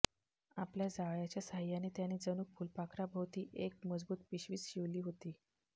आपल्या जाळयाच्या सहाय्याने त्याने जणू फुलपाखराभोवती एक मजबूत पिशवीच शिवली होती